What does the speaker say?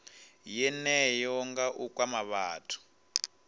yeneyo nga u kwama vhathu